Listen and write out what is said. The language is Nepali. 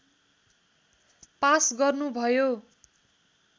पास गर्नु भयो